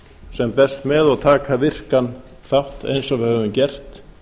sem best með og taka virkan þátt eins og við höfum gert